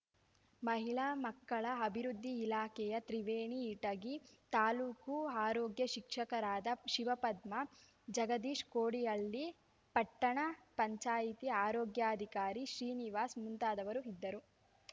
ಮಹಿಳಾ ಮಕ್ಕಳ ಅಭಿವೃದ್ದಿ ಇಲಾಖೆಯ ತ್ರಿವೇಣಿ ಇಟಗಿ ತಾಲೂಕು ಆರೋಗ್ಯ ಶಿಕ್ಷಕರಾದ ಶಿವಪದ್ಮ ಜಗದೀಶ್‌ ಕೋಡಿಹಳ್ಳಿ ಪಟ್ಟಣ ಪಂಚಾಯತಿ ಆರೋಗ್ಯಾಧಿಕಾರಿ ಶ್ರೀನಿವಾಸ್‌ ಮುಂತಾದವರು ಇದ್ದರು